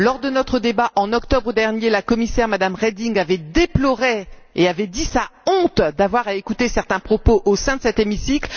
Lors de notre débat en octobre dernier, la commissaire, Mme Reding, avait déploré et avait dit sa honte d'avoir à écouter certains propos au sein de cet hémicycle.